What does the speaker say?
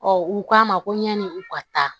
u k'a ma ko ɲani u ka taa